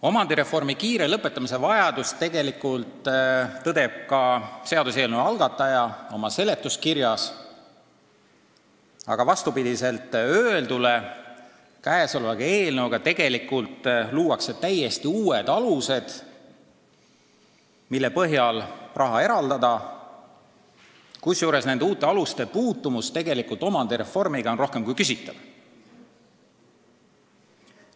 Omandireformi kiire lõpetamise vajadust tõdeb ka seaduseelnõu algataja oma seletuskirjas, aga vastupidi öeldule luuakse selle eelnõuga tegelikult täiesti uued alused, mille põhjal raha eraldada, kusjuures nende uute aluste puutumus omandireformiga on rohkem kui küsitav.